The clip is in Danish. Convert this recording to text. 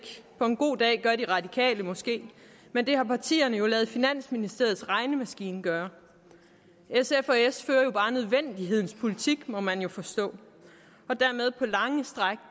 på en god dag gør de radikale måske men det har partierne jo ladet finansministeriets regnemaskine gøre sf og s fører jo bare nødvendighedens politik må man jo forstå og dermed på lange stræk